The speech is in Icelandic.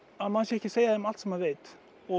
að maður sé ekki að segja þeim allt sem maður veit